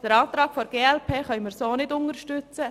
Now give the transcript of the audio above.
Den Antrag der glp können wir so nicht unterstützen.